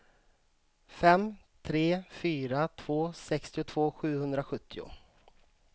fem tre fyra två sextiotvå sjuhundrasjuttio